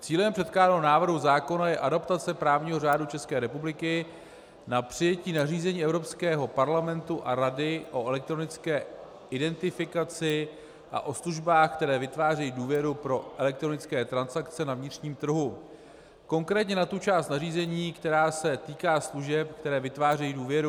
Cílem předkládaného návrhu zákona je adaptace právního řádu České republiky na přijetí nařízení Evropského parlamentu a Rady o elektronické identifikaci a o službách, které vytvářejí důvěru pro elektronické transakce na vnitřním trhu, konkrétně na tu část nařízení, která se týká služeb, které vytvářejí důvěru.